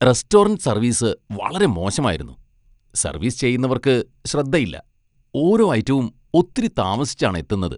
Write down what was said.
Restaurant service വളരെ മോശമായിരുന്നു. Service ചെയ്യുന്നവർക്ക് ശ്രദ്ധയില്ല, ഓരോ ഐറ്റവും ഒത്തിരി താമസിച്ചാണ് എത്തുന്നത്.